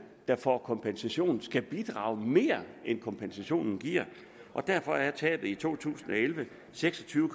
der får kompensation skal bidrage mere end kompensationen giver og derfor er tabet i to tusind og elleve seks og tyve